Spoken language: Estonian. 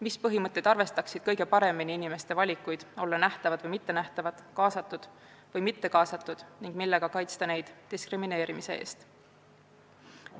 Mis põhimõtted arvestaksid kõige paremini inimeste valikuid olla nähtavad või mittenähtavad, kaasatud või mittekaasatud ning kuidas kaitsta neid diskrimineerimise eest?